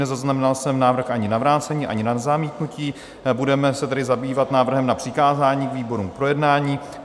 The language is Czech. Nezaznamenal jsem návrh ani na vrácení, ani na zamítnutí, budeme se tedy zabývat návrhem na přikázání výborům k projednání.